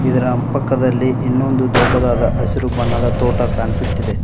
ಇದರ ಪಕ್ಕದಲ್ಲಿ ಇನ್ನೊಂದು ದೊಡ್ಡದಾದ ಹಸಿರು ಬಣ್ಣದ ತೋಟ ಕಾಣಿಸುತ್ತಿದೆ.